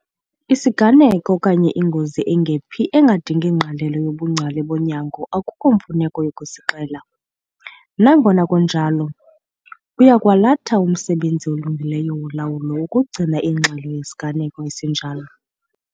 Isiganeko okanye ingozi engephi engadingi ngqalelo yobungcali bonyango akukho mfuneko yokusixela. Nangona kunjalo, kuya kwalatha umsebenzi olungileyo wolawulo ukugcina ingxelo yeziganeko ezinjalo.